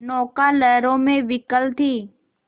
नौका लहरों में विकल थी